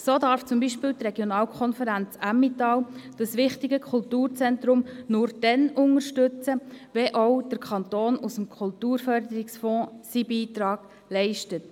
So darf zum Beispiel die Regionalkonferenz Emmental dieses wichtige Kulturzentrum nur dann unterstützen, wenn auch der Kanton seinen Beitrag aus dem Kulturförderungsfonds leistet.